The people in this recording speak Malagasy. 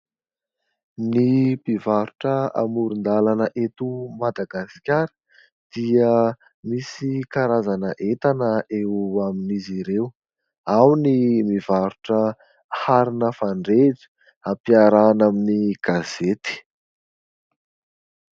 Ny mpivarotra amoron-dalana eto Madagasikara dia misy karazana entana eo amin'izy ireo. Ao ny mivarotra arina fandrehitra ampiarahina amin'ny gazety.